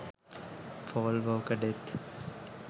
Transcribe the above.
paul walker death